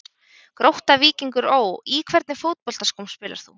Grótta-Víkingur Ó Í hvernig fótboltaskóm spilar þú?